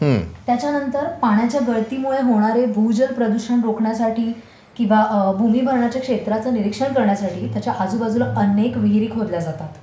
त्याच्यानंतर पाण्याच्या गळतीमुळे होणारे भूजल प्रदूषण रोखण्यासाठी किंवा भूमिभारणाच्या क्षेत्राचं निरीक्षण करण्यासाठी त्याच्या आजूबाजूला अनेक विहिरी खोदल्या जातात.